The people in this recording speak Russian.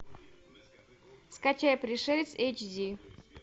скачай пришелец эйч ди